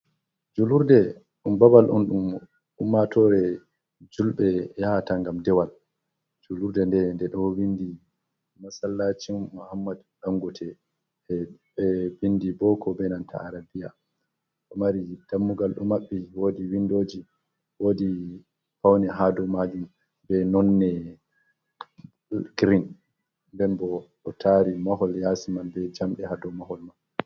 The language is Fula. Julurde ɗum babal on ɗum ummatore julbe ya hata ngam dewal, julurde nde nɗe ɗo windi masallacin mohammad dangote be bindi boko be nanta arabiya ɗo mari dammugal ɗo maɓɓi woɗi windoji woɗi paune ha dou majum be nonne girin nden bo ɗo tari mahol yasi man be jamɗe ha dou mahol mai.